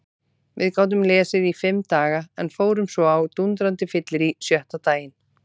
Við gátum lesið í fimm daga en fórum svo á dúndrandi fyllerí sjötta daginn.